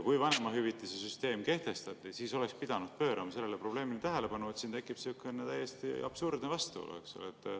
Kui vanemahüvitise süsteem kehtestati, siis oleks pidanud pöörama sellele probleemile tähelepanu, sest siin tekib täiesti absurdne vastuolu.